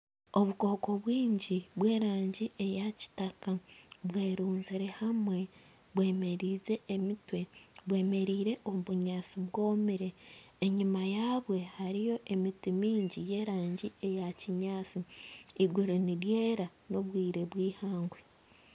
Obukooko bwingi bw'erangi eya kitaka bwerunzire hamwe bwemereize emitwe bwemereire omu bunyaantsi bwomire. Enyuma yabwo hariyo emiti mingi ya erangi ya kinyaantsi eiguru niryera ni obwire bweihangwe.